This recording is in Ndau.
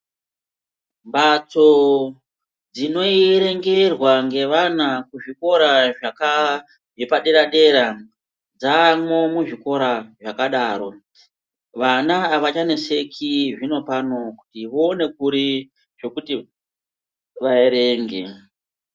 Mbatso dzinoierengerwa ngevana kuzvikora zvakaa zvepadera-dera, dzaamwo muzvikora zvakadaro. Vana avachaneseki zvinopano kuti voone kuri zvekuti vaerenge.